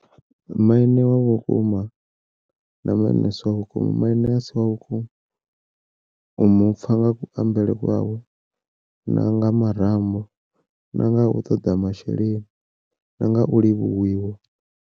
Maine wa vhukuma na maine a si wa vhukuma, maine a si wa vhukuma u mu pfa nga kuambele kwawe na nga marambo na nga u ṱoḓa masheleni na nga u livhuwiwa.